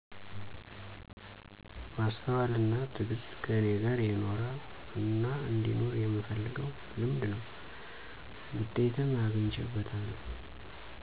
ማስተዋል አና ትግስት ከኔ ጋር የኖረ አናአንዲኖር የምፈልገው ልምድ ነው። ውጤትም አግቸበታለሁ።